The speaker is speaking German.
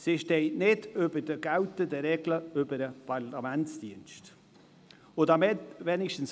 Sie steht nicht über den geltenden Regeln des Parlamentsdienstes.